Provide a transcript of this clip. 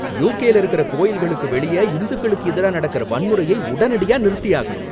யுகேல இருக்கற கோவில்களுக்கு வெளிய ஹிந்துக்களுக்கு எதிரா நடக்கற வன்முறையை உடனடியா நிறுத்தியாகணும்